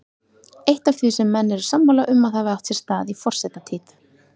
Eitt af því sem menn eru sammála um að hafi átt sér stað í forsetatíð